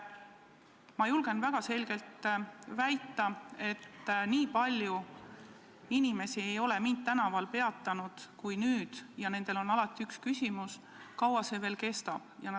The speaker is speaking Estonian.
Ma julgen väga kindlalt väita, et nii palju inimesi kui nüüd ei ole mind tänaval varem peatanud ja alati on üks küsimus: kaua see veel kestab?